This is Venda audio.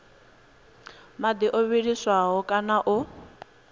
madi o vhiliswaho kana o